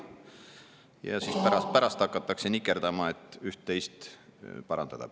Ja siis pärast hakatakse nikerdama, et üht-teist püüda parandada.